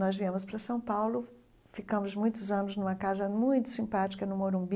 Nós viemos para São Paulo, ficamos muitos anos numa casa muito simpática no Morumbi,